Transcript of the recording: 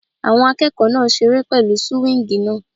Àwọn akẹ́kọ̀ọ́ náà ń seré pẹ̀lú súwíngì náà